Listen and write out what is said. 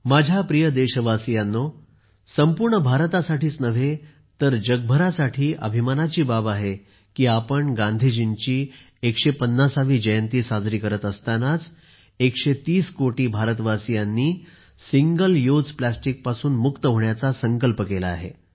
माझ्या प्रिय देशवासीयांनो संपूर्ण भारतासाठी नाही तर जगभरासाठी अभिमानाची बाब आहे की आज आपण गांधीजींची 150 वी जयंती साजरी करत असतानाच130 कोटी भारतवासीयांनी सिंगल यूज प्लास्टिकपासून मुक्त होण्याचा संकल्प केला आहे